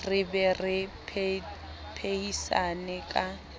re be re phehisane ka